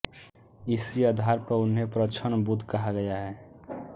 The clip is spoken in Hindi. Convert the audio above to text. इसी आधार पर उन्हें प्रछन्न बुद्ध कहा गया है